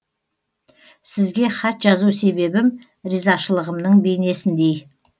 сізге хат жазу себебім ризашылығымның бейнесіндей